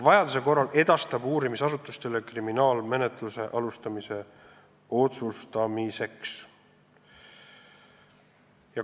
Vajaduse korral edastatakse info uurimisasutustele, et need otsustaksid, kas on vaja alustada kriminaalmenetlust.